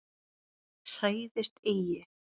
Hræðist eigi!